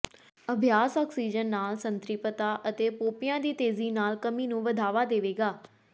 ਅਭਿਆਸ ਆਕਸੀਜਨ ਨਾਲ ਸੰਤ੍ਰਿਪਤਾ ਅਤੇ ਪੋਪੀਆਂ ਦੀ ਤੇਜ਼ੀ ਨਾਲ ਕਮੀ ਨੂੰ ਵਧਾਵਾ ਦੇਵੇਗਾ